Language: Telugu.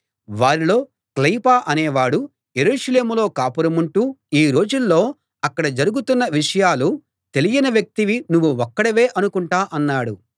వారిలో క్లెయొపా అనేవాడు యెరూషలేములో కాపురముంటూ ఈ రోజుల్లో అక్కడ జరుగుతున్న విషయాలు తెలియని వ్యక్తివి నువ్వు ఒక్కడివే అనుకుంటా అన్నాడు